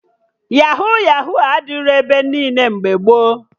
Yahuu Yahuu adịrọ ebe niile mgbe gboo